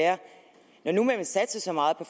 og